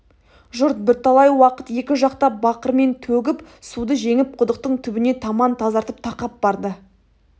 жұрт бірталай уақыт екі жақтап бақырмен төгіп суды жеңіп құдықтың түбіне таман тазартып тақап барды